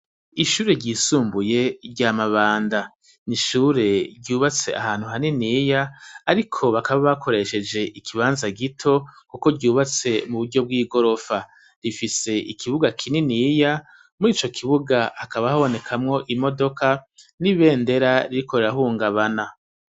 Ishure ryisumbuye ry'amabanda n'ishure ryubatse ahantu haniniya ariko bakaba bakoresheje ikibanza gito kuko ryubatse mu buryo bw'igorofa, rifise ikibuga kininiya muri ico kibuga hakaba habonekamwo imodoka n'ibendera ririko rirahungabana.